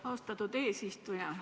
Austatud eesistuja!